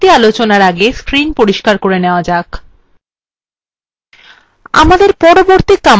পরের command আলোচনার আগে screen পরিস্কার করে নেওয়া যাক